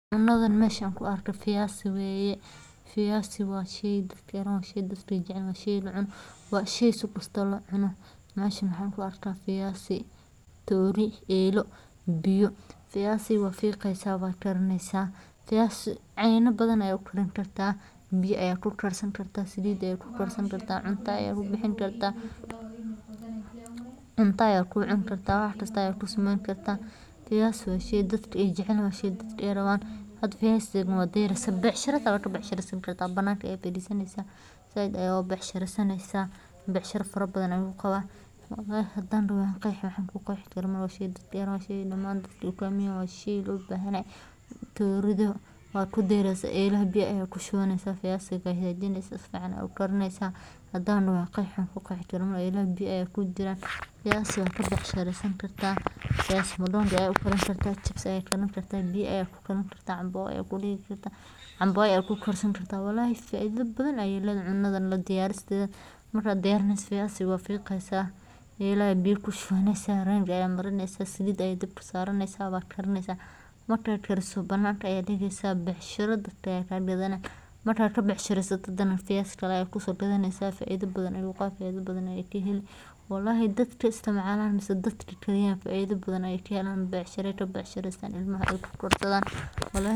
Marka aad rabto inaad diyaariso baradho si dhadhan fiican leh lehna u muuqaal fiican, waxaad marka hore nadiifisaa baradhada adigoo ku mayraya biyo qabow oo nadiif ah si aad uga saarto dhulka iyo wasakhda dusha ka saaran, ka dibna waxaad gooysaa sida aad rabto, haddii aad rabto in la shiilo, gooyo qaybo yaryar oo dhuuban, haddii aad rabto in la kariyo, waxaad gooysaa xabbado waaweyn ama iskaga tag mid dhan, marka xigta waxaad ku ridaa digsi ama dhari dab ku shidan, haddii la shiilayo waxaad ku daraysaa saliid kulul si aysan u nuugin saliidda badan, haddii la karinayo waxaad ku shubaysaa biyo karkaraya oo milix leh.